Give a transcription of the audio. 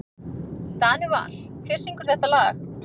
Danival, hver syngur þetta lag?